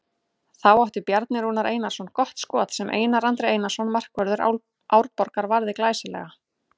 Þá átti Bjarni Rúnar Einarsson gott skot sem Einar Andri Einarsson markvörður Árborgar varði glæsilega.